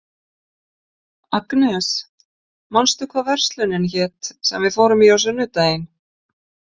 Agnes, manstu hvað verslunin hét sem við fórum í á sunnudaginn?